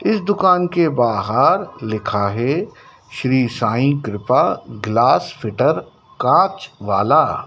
इस दुकान के बाहार लिखा हैं श्री साई कृपा ग्लास फिटर कांच वाला--